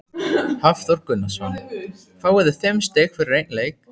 Hafþór Gunnarsson: Fáið þið fimm stig fyrir einn leik?